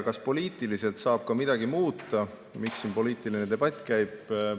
Kas poliitiliselt saab midagi muuta, miks siin poliitiline debatt käib?